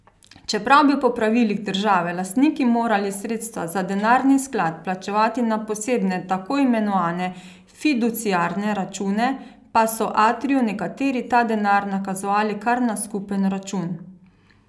Čeprav bi po pravilih države lastniki morali sredstva za denarni sklad plačevati na posebne tako imenovane fiduciarne račune, pa so Atriju nekateri ta denar nakazovali kar na skupen račun.